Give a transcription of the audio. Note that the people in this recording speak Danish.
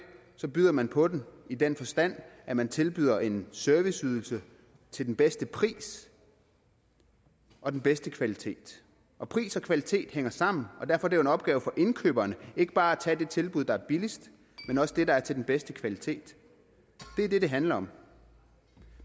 byder man på den i den forstand at man tilbyder en serviceydelse til den bedste pris og den bedste kvalitet og pris og kvalitet hænger sammen og derfor er det jo en opgave for indkøberne ikke bare at tage det tilbud der er billigst men også det der er til den bedste kvalitet det er det det handler om